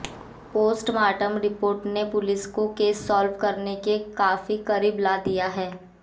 postmortem report ने police को case solve करने के काफी करीब ला दिया है